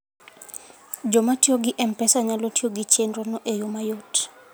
Joma tiyo gi M-Pesa nyalo tiyo gi chenrono e yo mayot.